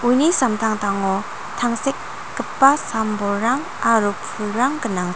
ni samtangtango tangsekgipa sam-bolrang aro pulrang gnangchi --